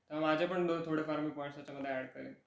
कारण माझे पण दोन थोडेफार मी पॉईंट्स ह्याच्या मध्ये ऍड करिन.